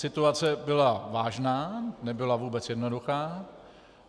Situace byla vážná, nebyla vůbec jednoduchá.